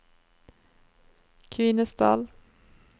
Kvinesdal